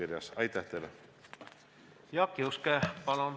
Jaak Juske, palun!